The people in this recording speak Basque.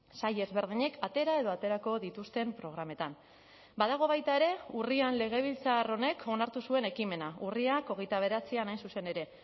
sail ezberdinek atera edo aterako dituzten programetan badago baita ere urrian legebiltzar honek onartu zuen ekimena urriak hogeita bederatzian hain zuzen ere